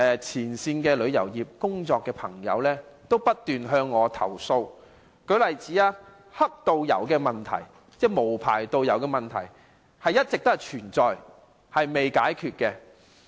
前線旅遊業從業員過去數年不斷向我投訴，若干問題如"黑導遊"等一直存在，仍未解決。